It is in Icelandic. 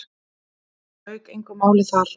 Það lauk engu máli þar.